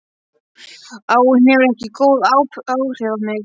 Áin hefur ekki góð áhrif á mig.